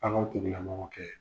A ko tigila mɔgɔ kɛ.